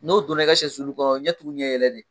N'o donna i ka sɔsulu kɔnɔ ɲɛ tugu ɲɛ yɛlɛ don